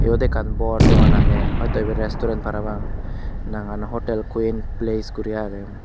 iyot ekkan bor dogan age hoito iben restaurant parapang nangan hotel queen place guri age.